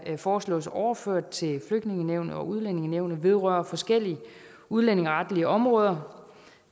foreslås overført til flygtningenævnet og udlændingenævnet vedrører forskellige udlændingeretlige områder